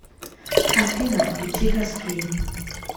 афина включи гаскейп